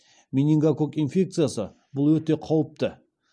менингококк инфекциясы бұл өте қауіпті